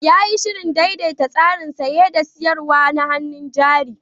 Ya yi shirin daidaita tsarin saye da sayar da hannun jari.